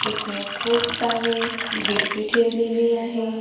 इथं खूप सारी गिफ्टी ठेवलेली आहे.